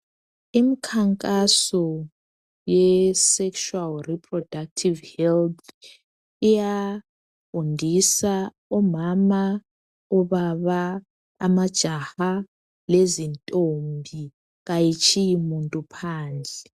Imkhankaso ye sekshuwali riprodakthivu helith, iyafundisa omama, obaba, amajaha lezintombi. Kayitshiyi muntu phandle.